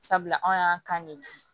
Sabula anw y'an kan de di